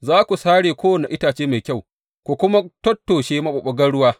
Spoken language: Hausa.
Za ku sare kowane itace mai kyau, ku kuma tattoshe maɓuɓɓugan ruwa.